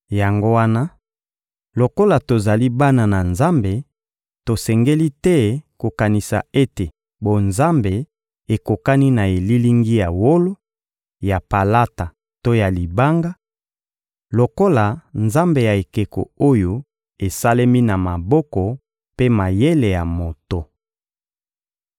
Yango wana, lokola tozali bana na Nzambe, tosengeli te kokanisa ete bonzambe ekokani na elilingi ya wolo, ya palata to ya libanga, lokola nzambe ya ekeko oyo esalemi na maboko mpe mayele ya moto.